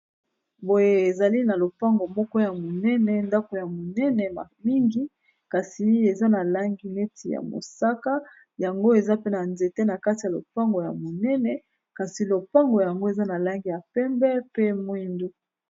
Boye ezali na lopango moko ya monene ndako ya monene mingi kasi eza na langi neti ya mosaka yango eza pe na nzete na kati ya lopango ya monene kasi lopango yango eza na langi ya pembe pe mwindu.